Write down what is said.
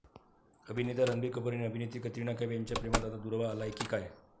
अभिनेता रणबीर कपूर आणि अभिनेत्री कतरिना कैफ यांच्या प्रेमात आता दुरावा आलाय की काय?